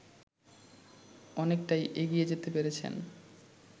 অনেকটাই এগিয়ে যেতে পেরেছেন